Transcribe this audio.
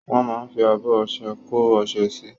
Wọ́n máa ń fi abọ́ ọṣẹ kó ọṣẹ sí.